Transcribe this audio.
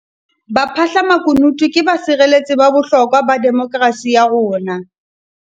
Baphahlamakunutu ke basireletsi ba bohlokwa ba demokerasi ya rona.